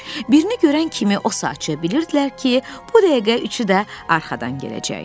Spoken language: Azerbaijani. Birini görən kimi o saat bilirdilər ki, bu dəqiqə üçü də arxadan gələcək.